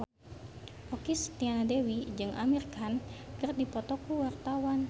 Okky Setiana Dewi jeung Amir Khan keur dipoto ku wartawan